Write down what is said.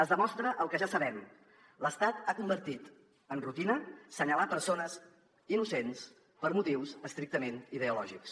es demostra el que ja sabem l’estat ha convertit en rutina assenyalar persones innocents per motius estrictament ideològics